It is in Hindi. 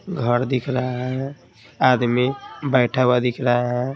घर दिख रहा है आदमी बैठा हुआ दिख रहा है।